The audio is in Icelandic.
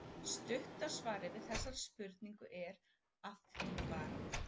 Stutta svarið við þessari spurningu er: Að því bara!